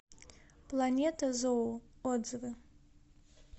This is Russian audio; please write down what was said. планета зоо отзывы